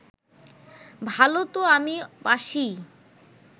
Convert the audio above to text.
ভালো তো আমি বাসিই